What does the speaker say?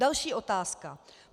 Další otázka.